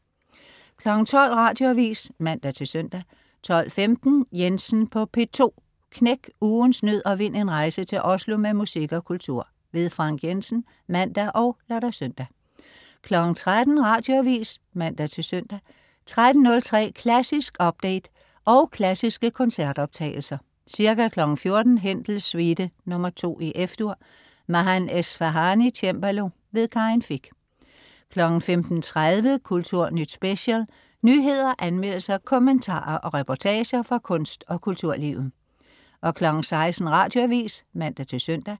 12.00 Radioavis (man-søn) 12.15 Jensen på P2 Knæk ugens nød og vind en rejse til Oslo med musik og kultur. Frank Jensen (man og lør-søn) 13.00 Radioavis (man-søn) 13.03 Klassisk update, og klassiske koncertoptagelser. Ca. 14.00 Händels Suite nr. 2, F-dur. Mahan Esfahani, cembalo. Karin Fich 15.30 Kulturnyt Special. nyheder, anmeldelser, kommentarer og reportager fra kunst og kulturlivet 16.00 Radioavis (man-søn)